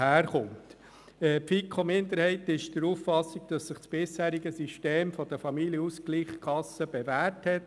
Die FiKo-Minderheit ist der Auffassung, dass sich das bisherige System der Familienausgleichskassen bewährt hat.